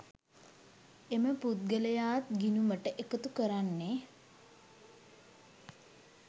එම පුද්ගලයාත් ගිණුමට එකතු කරන්නේ